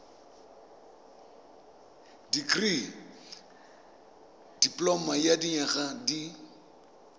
dikirii dipoloma ya dinyaga di